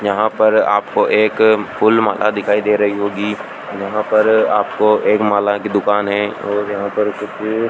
यहां पर आपको एक फूल माला दिखाई दे रही होगी यहां पर आपको एक माला की दुकान है और यहां पर कुछ --